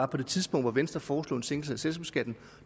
det tidspunkt hvor venstre foreslog en sænkelse